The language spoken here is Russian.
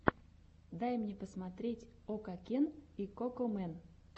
дай мне посмотреть окакен и кокомэн